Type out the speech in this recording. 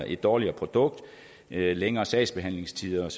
et dårligere produkt længere sagsbehandlingstider og